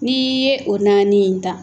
N'i ye o naani in ta